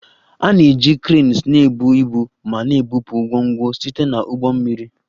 A na-eji cranes na-ebu ibu ma na-ebupụ ngwongwo site na ụgbọ mmiri